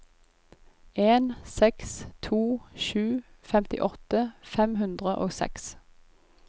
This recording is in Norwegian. en seks to sju femtiåtte fem hundre og seks